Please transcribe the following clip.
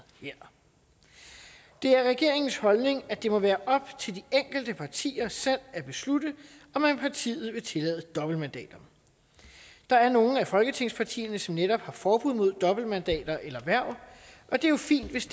her det er regeringens holdning at det må være op til de enkelte partier selv at beslutte om man i partiet vil tillade dobbeltmandater der er nogle af folketingspartierne som netop har forbud mod dobbeltmandater eller hverv og det er jo fint hvis